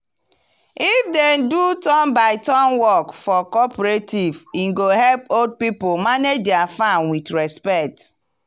if dem do turn by turn work for cooperative e go help old people manage dia farm with respect.